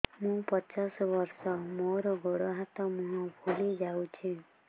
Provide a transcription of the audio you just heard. ମୁ ପଚାଶ ବର୍ଷ ମୋର ଗୋଡ ହାତ ମୁହଁ ଫୁଲି ଯାଉଛି